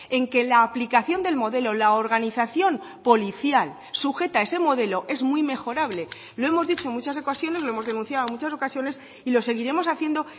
en que la aplicación del modelo la organización policial sujeta a ese modelo es muy mejorable lo hemos dicho en muchas ocasiones lo hemos denunciado en muchas ocasiones y lo seguiremos haciendo